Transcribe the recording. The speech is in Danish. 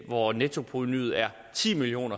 hvor nettoprovenuet er ti million